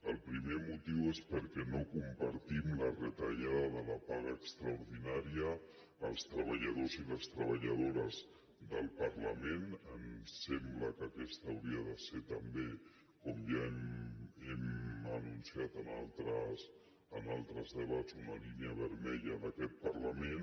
el primer motiu és perquè no compartim la retallada de la paga extraordinària als treballadors i les treballadores del parlament ens sembla que aquesta hauria de ser també com ja hem anunciat en altres debats una línia vermella d’aquest parlament